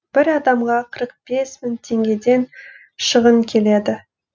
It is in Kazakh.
бір адамға қырық бес мың теңгеден шығын келеді